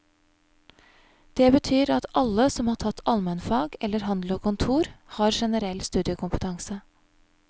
Det betyr at alle som har tatt almenfag eller handel og kontor, har generell studiekompetanse.